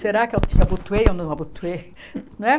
Será que eu abu abutuei ou não abutuei? Não é